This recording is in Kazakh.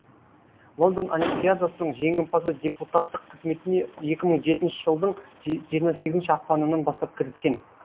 лондон олимпиадасының жеңімпазы депутаттық қызметіне екі мың он жетінші жылдың жиырма сегізінші ақпанынан бастап кіріскен